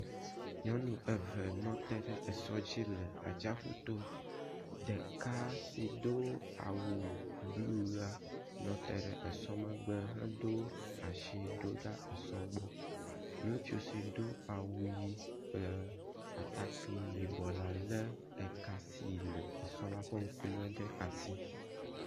Nyɔnu eve nɔ te ɖe esɔ dzi le atsiƒuto. Ɖeka si do awu blu la nɔ te ɖe esɔ megbe hedo asi ɖoɖa esɔ gbɔ. Ŋutsu si do awu ʋi kple atakpui yibɔ la le eka si le sɔ la ƒe ŋkume ɖe asi.